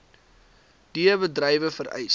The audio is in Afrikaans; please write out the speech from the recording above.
d bedrywe vereis